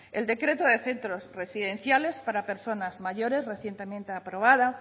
el decreto de centros residenciales para personas mayores recientemente aprobado